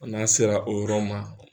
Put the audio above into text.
n'a sera o yɔrɔ ma.